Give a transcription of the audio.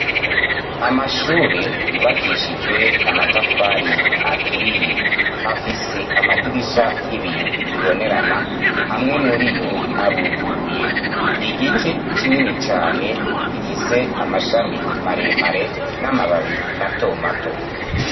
Amashure yubakishijwe amatafari aturiye afise amadirisha y'ibiyo bibonerana, amwe muri yo aruguruye, igiti kinini cane gifise amashami maremare n'amababi mato mato.